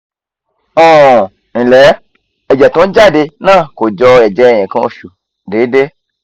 um nle ẹ̀jẹ̀ tó ń jáde naa ko jo eje nkan oṣù deede